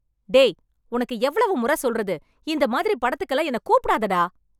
டேய், உனக்கு எவ்வளவு முறை சொல்றது.இந்த மாறி படத்துக்கெல்லாம் என்ன கூப்பிடாத, டா.